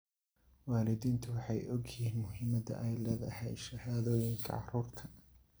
Waalidiintu waxay og yihiin muhiimadda ay leedahay shahaadooyinka carruurta.